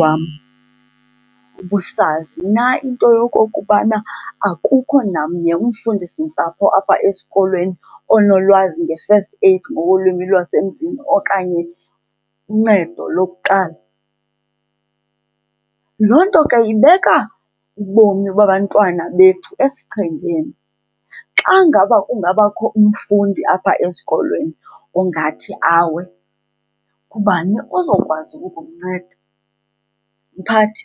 wam, ubusazi na into yokokubana akukho namnye umfundisintsapho apha esikolweni onolwazi nge-first aid ngokolwimi lwasemzini okanye uncedo lokuqala? Loo nto ke ibeka ubomi babantwana bethu esichengeni. Xa ngaba kungabakho umfundi apha esikolweni ongathi awe ngubani ozokwazi ukumnceda? Mphathi